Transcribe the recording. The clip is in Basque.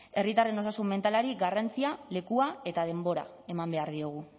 herritarren osasun mentalari garrantzia lekua eta denbora eman behar diogu